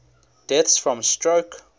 deaths from stroke